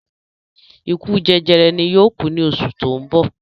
Ikú jẹjẹrẹ ni yóò ku ní oṣù ti oun bo